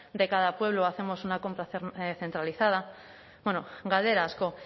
de cada pueblo o hacemos una compra centralizada bueno galdera asko